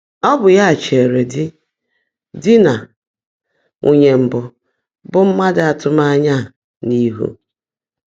Ọ́ bụ́ yá chèèré dí dí nà nwuunyé mbụ́ bụ́ mmádụ́ ạ́tụ́mányá á n’íhú.